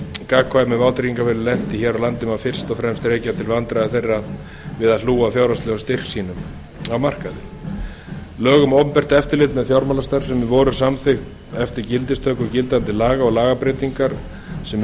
gagnkvæmu vátryggingafélögin lentu í hér á landi má fyrst og fremst rekja til vandræða þeirra við að hlúa að fjárhagslegum styrk sínum á markaði lög um opinbert eftirlit með fjármálastarfsemi voru samþykkt eftir gildistöku gildandi laga og lagabreytingar sem